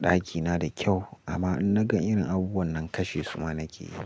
ɗakina da kyau amma in naga irin abubuwan nan kashe suma nake yi.